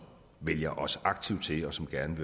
vælger os aktivt til og som gerne